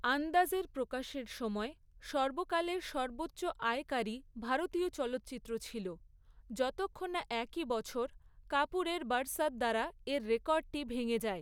আন্দাজ', এর প্রকাশের সময়, সর্বকালের সর্বোচ্চ আয়কারী ভারতীয় চলচ্চিত্র ছিল, যতক্ষণ না একই বছর কাপুরের 'বারসাত' দ্বারা এর রেকর্ডটি ভেঙে যায়।